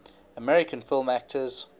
american film actors